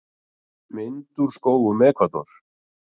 Mynd úr skógum Ekvador.